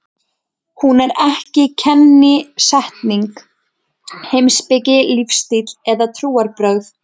Hún er ekki kennisetning, heimspeki, lífstíll eða trúarbrögð.